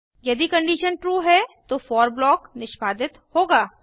यदि condition true है तो फोर ब्लॉक निष्पादित होगा